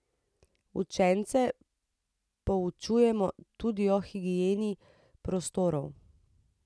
Učence poučujemo tudi o higieni prostorov.